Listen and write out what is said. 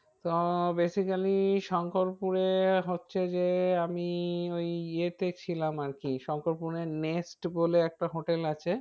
তো basically শঙ্করপুরে হচ্ছে যে আমি ওই ইয়েতে ছিলাম আর কি শঙ্করপুরে নেস্ট বলে একটা hotel আছে।